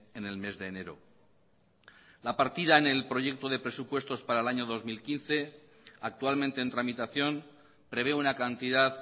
en el mes de enero la partida en el proyecto de presupuestos para el año dos mil quince actualmente en tramitación prevé una cantidad